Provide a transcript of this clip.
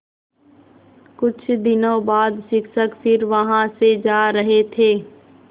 कुछ दिनों बाद शिक्षक फिर वहाँ से जा रहे थे